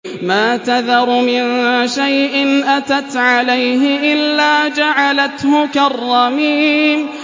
مَا تَذَرُ مِن شَيْءٍ أَتَتْ عَلَيْهِ إِلَّا جَعَلَتْهُ كَالرَّمِيمِ